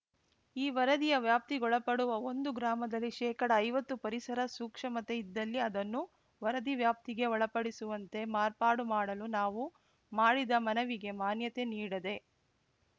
ಈ ವರದಿಯ ವ್ಯಾಪ್ತಿಗೊಳಪಡುವ ಒಂದು ಗ್ರಾಮದಲ್ಲಿ ಶೇಕಡಐವತ್ತು ಪರಿಸರ ಸೂಕ್ಷಮತೆ ಇದ್ದಲ್ಲಿ ಅದನ್ನು ವರದಿ ವ್ಯಾಪ್ತಿಗೆ ಒಳಪಡಿಸುವಂತೆ ಮಾರ್ಪಾಡು ಮಾಡಲು ನಾವು ಮಾಡಿದ ಮನವಿಗೆ ಮಾನ್ಯತೆ ನೀಡದೆ